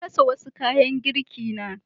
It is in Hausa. Na rasa wasu kayan girkina.